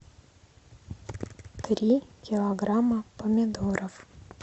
три килограмма помидоров